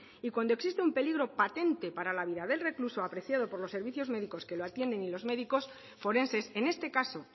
y cuando existe un peligro patente para la vida del recluso apreciado por los servicios médicos que lo atienden y los médicos forenses en este caso